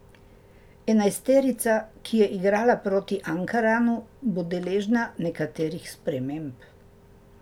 Enajsterica, ki je igrala proti Ankaranu, bo deležna nekaterih sprememb.